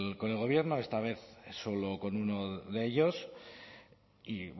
con el gobierno esta vez solo con uno de ellos y